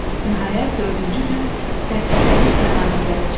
Nəhayət, dördüncü gün dəstə dəniz kənarına gəlib çıxdı.